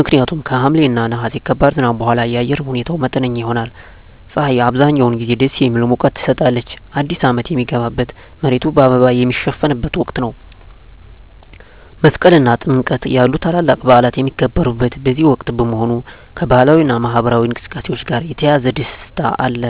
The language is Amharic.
ምክንያቱም ከሐምሌ እና ነሐሴ ከባድ ዝናብ በኋላ የአየር ሁኔታው መጠነኛ ይሆናል። ፀሐይ አብዛኛውን ጊዜ ደስ የሚል ሙቀት ትሰጣለች። አዲስ አመት ሚገባበት፣ መሬቱ በአበባ ሚሸፈንበት ወቅት ነው። መስቀል እና ጥምቀት ያሉ ታላላቅ በዓላት የሚከበሩት በዚህ ወቅት በመሆኑ፣ ከባህላዊ እና ማኅበራዊ እንቅስቃሴዎች ጋር የተያያዘ ደስታ አለ።